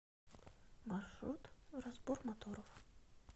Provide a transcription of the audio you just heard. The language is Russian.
маршрут разбор моторов